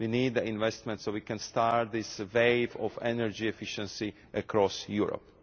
We need the investment so we can start this wave of energy efficiency across Europe.